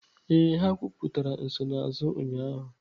Ee, ha kwuputara nsonaazụ ụnyaahụ.